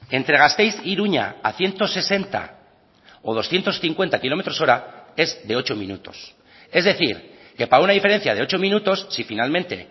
entre gasteiz iruña a ciento sesenta o doscientos cincuenta kilómetros hora es de ocho minutos es decir que para una diferencia de ocho minutos si finalmente